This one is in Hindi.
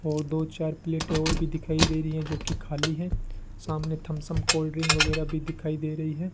और दो चार प्लेटें और भी दिखाई दे रही हैं जो कि खाली हैं सामने थम्सअप कोल्ड ड्रिंक वगैरह भी दिखाई दे रही हैं।